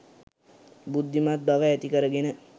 බුද්ධිමත් බව ඇති කරගෙන